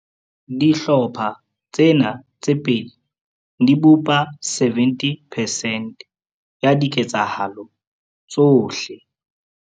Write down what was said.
Dihlopha tsena tse pedi di bopa 70 percent ya dike tsahalo tsohle.